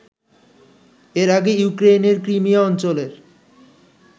এর আগে ইউক্রেইনের ক্রিমিয়া অঞ্চলের